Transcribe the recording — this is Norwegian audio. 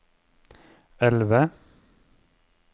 elve